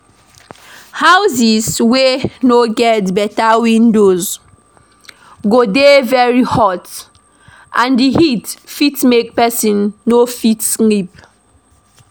Houses wey no get better windows go dey very hot and di heat fit make person no fit sleep